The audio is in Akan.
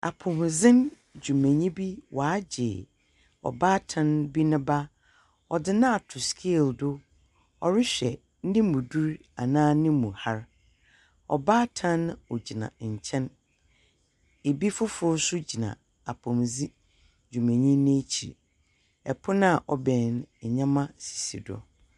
Apomudzen dwumanyi bi wagye ɔbaatan bi ne ba. Ɔdze no ato scale do. Ɔrehwɛ ne mu dur anaa ne mu har. Ɔbaatan no ogyina nkyɛn. Ebi foforo nso gyina apomudzen dwumanyi no ekyir. Ɛpon a ɔbɛn no, nnyeɛma sisi do.